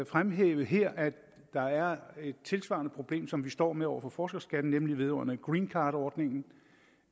fremhæve her at der er et tilsvarende problem som vi står med over for forskerskatten nemlig vedrørende green card ordningen